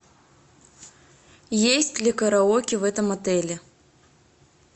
есть ли караоке в этом отеле